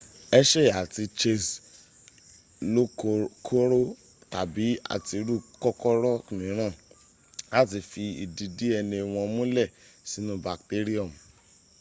hershey àti chase lokòkòrò tàbi àtirú kòkòrò míràn láti fi ìdí dna wọn múlẹ̀̀ sínu bacterium